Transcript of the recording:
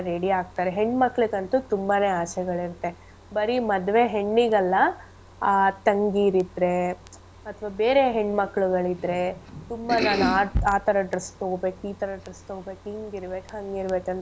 ಆಗ್ತಾರೆ ಹೆಣ್ ಮಕ್ಳಿಗಂತು ತುಂಬಾನೆ ಆಸೆಗಳಿರತ್ತೆ. ಬರೀ ಮದ್ವೆ ಹೆಣ್ಣಿಗಲ್ಲ, ಆ ತಂಗಿರ್ ಇದ್ರೆ ಅಥ್ವ ಬೇರೆ ಹೆಣ್ ಮಕ್ಳುಗಳಿದ್ರೆ ತುಂಬಾ ನಾನ್ ಆ ಆ ತರ dress ತಗೋಬೇಕ್ ಈ ತರ dress ತಗೋಬೇಕ್ ಹಿಂಗ್ ಇರ್ಬೇಕ್ ಹಂಗ್ ಇರ್ಬೇಕ್ ಅಂತ.